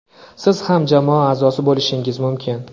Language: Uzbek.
Siz ham jamoa a’zosi bo‘lishingiz mumkin!.